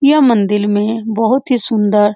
यह मंदिर में बहुत ही सुन्दर --